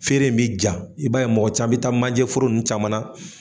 Feere in bi ja i b'a ye mɔgɔ caman bɛ taa majɛforo ninnu caman na